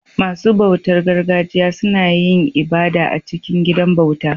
Masu bautar gargajiya suna yin ibada a cikin gidan bauta